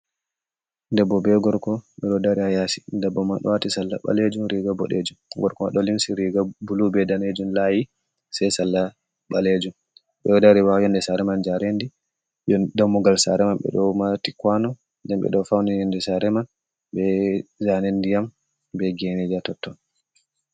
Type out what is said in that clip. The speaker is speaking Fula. Debbo be gorko bedo dari ha yasi debbo ma wati sarla ɓalejum riga boɗejum, gorko ɗo limsi riga bulu be danejum layi sei salla ɓalejum. beɗo dari ha yonde sare man, jarendi dammugal sare man ɓeɗo mati kwano nden ɓeɗo fauni yonde sare man be zane ndi yam be geneja totton.